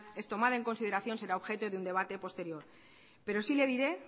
es tomada en consideración será objeto de un debate posterior pero sí le diré